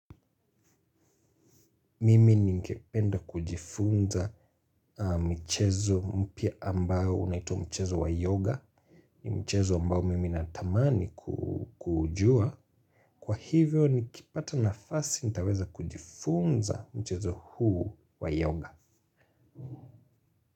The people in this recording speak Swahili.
Mimi ningependa kujifunza michezo mpya ambayo unaitwa mchezo wa yoga. Mchezo ambao mimi natamani kujua. Kwa hivyo nikipata nafasi nitaweza kujifunza mchezo huu wa yoga.